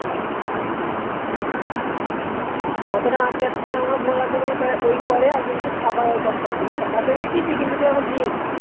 কত টাকা